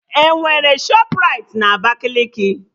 Enwere Shọpraịti na Abakaliki?